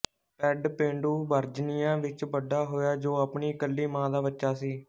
spade ਪੇਂਡੂ Virginia ਵਿੱਚ ਵੱਡਾ ਹੋਇਆ ਜੋ ਆਪਣੀ ਇਕੱਲੀ ਮਾਂ ਦਾ ਬੱਚਾ ਸੀ